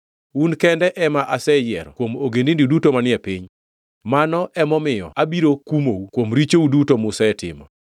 “Un kende ema aseyiero kuom ogendini duto manie piny; mano emomiyo abiro kumou kuom richou duto musetimo.”